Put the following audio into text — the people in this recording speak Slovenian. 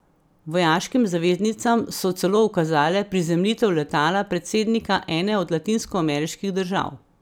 Vojaškim zaveznicam so celo ukazale prizemljitev letala predsednika ene od latinskoameriških držav.